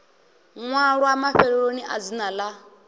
ṅwalwa mafheloni a dzina ḽa